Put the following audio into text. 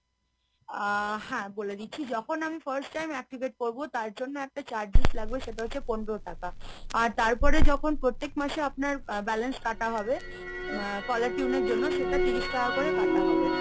আ হ্যাঁ বলে দিচ্ছি যখন আমি first time activate করবো তার জন্য একটা charges লাগবে সেটা হচ্ছে পনেরো টাকা। আর তারপরে যখন প্রত্যেক মাসে আপনার balance কাটা হবে, আ caller tune এর জন্য সেটা তিরিশ টাকা করে কাটা হবে।